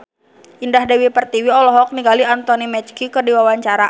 Indah Dewi Pertiwi olohok ningali Anthony Mackie keur diwawancara